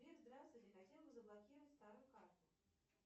сбер здравствуйте хотела бы заблокировать старую карту